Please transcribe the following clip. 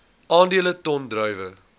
aandele ton druiwe